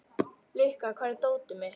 Lukka, hvar er dótið mitt?